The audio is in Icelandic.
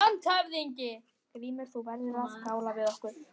LANDSHÖFÐINGI: Grímur, þú verður að skála við okkur!